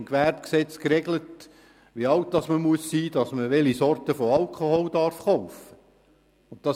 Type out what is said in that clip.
Im Gewerbegesetz ist geregelt, wie alt man sein muss, damit man welche Sorte von Alkohol kaufen darf.